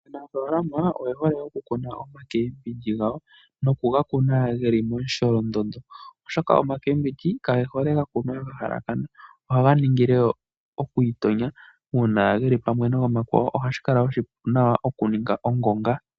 Aanafalama oye hole okukuna omakembindji gawo nokuga kuna ge li momusholondondo oshoka omakembindji kage hole okukunwa ga halakana ohaga ningile okwiitonya uuna geli pamwe nomakwawo ohashi kala oshipu okuninga ongonga.